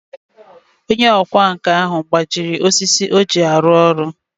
Onye ọkwá nkà ahu gbajiri osisi oji alu olu.